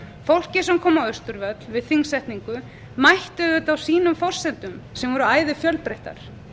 fólkið sem koma á austurvöll við þingsetningu mætti auðvitað á sínum forsendum sem voru ærið fjölbreyttar